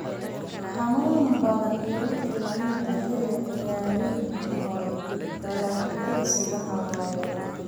xanuun badan iyo wixii la mid ah xilli ciyaareedkii hore. Dalagyadaas waxaa weerara